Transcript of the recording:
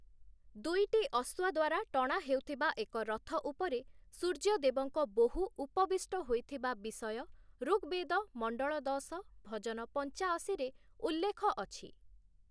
ଦୁଇଟି ଅଶ୍ୱ ଦ୍ୱାରା ଟଣା ହେଉଥିବା ଏକ ରଥ ଉପରେ ସୂର୍ଯ୍ୟଦେବଙ୍କ ବୋହୂ ଉପବିଷ୍ଟ ହୋଇଥିବା ବିଷୟ ଋଗ୍‌ବେଦ ମଣ୍ଡଳ ଦଶ, ଭଜନ ପଞ୍ଚାଅଶୀରେ ଉଲ୍ଲେଖ ଅଛି ।